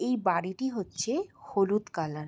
এই বাড়িটি হচ্চে হলুদ কালার ।